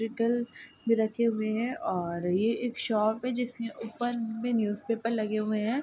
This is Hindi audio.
इलेक्ट्रिकल भी रखे हुए हैं और ये एक शॉप है जिसके ऊपर भी न्यूज़पेपर लगे हुए हैं |